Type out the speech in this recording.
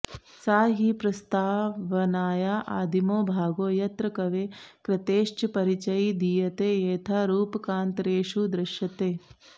सा हि प्रस्तावनाया आदिमो भागो यत्र कवेः कृतेश्च परिचयी दीयते येथा रूपकान्तरेषु दृश्यते